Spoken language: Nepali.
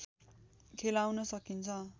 खेलाउन सकिन्छ